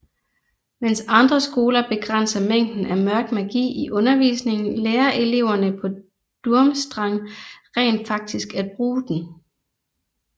Mens andre skoler begrænser mængden af Mørk Magi i undervisningen lærer eleverne på Durmstrang rent faktisk at bruge den